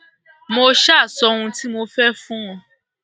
mo ṣáà sọ ohun tí mo fẹ fún wọn